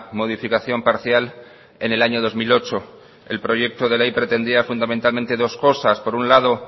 modificación parcial en el año dos mil ocho el proyecto de ley pretendía fundamentalmente dos cosas por un lado